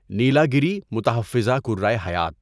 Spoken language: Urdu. نیلاگیری متحفظہ کرهٔ حیات